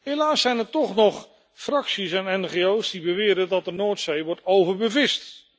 Helaas zijn er toch nog fracties en ngo's die beweren dat de Noordzee wordt overbevist.